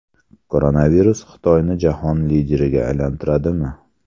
Koronavirus Xitoyni jahon lideriga aylantiradimi?